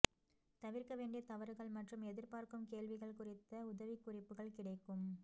தவிர்க்க வேண்டிய தவறுகள் மற்றும் எதிர்பார்க்கும் கேள்விகள் குறித்த உதவிக்குறிப்புகள் கிடைக்கும்